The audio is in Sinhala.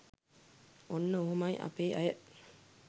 ඔන්න ඔහොමයි අපේ අය